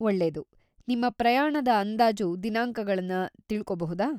ಒಳ್ಳೆದು! ನಿಮ್ಮ ಪ್ರಯಾಣದ ಅಂದಾಜು ದಿನಾಂಕಗಳನ್ನ ತಿಳ್ಕೊಬಹುದಾ?